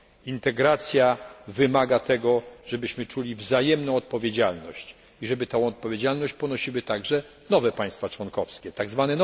Integracja wymaga tego, żebyśmy czuli wzajemną odpowiedzialność i żeby tę odpowiedzialność ponosiły także nowe państwa członkowskie, tzw.